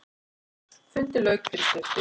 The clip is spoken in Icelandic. Fundi lauk fyrir stuttu.